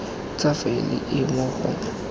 tsa faele e mo go